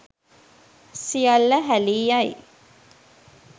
සියල්ල හැලී යයි.